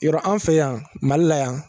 Yɔrɔ an fɛ yan Mali la yan